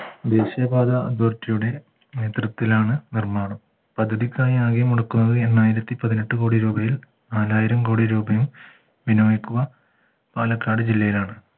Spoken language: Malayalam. ദേശീയപാത authority യുടെ നേതൃത്വത്തിലാണ് നിർമ്മാണം പദ്ധതിക്കായി ആകെ മടുക്കുന്നത് എണ്ണായിരത്തിപതിനെട്ടു കോടി രൂപയിൽ നാലായിരം കോടി രൂപയും ബിനോയ്ക്കുക പാലക്കാട് ജില്ലയിലാണ്